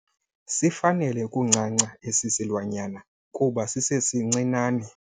Sifanele ukuncanca esi silwanyana kuba sisesincinane.